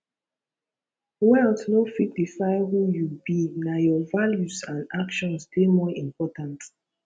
wealth no fit define who you be na your values and actions dey more important